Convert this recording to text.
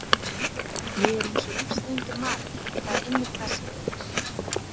Ég er eins og lífsreyndur maður og það er einmitt það sem ég er.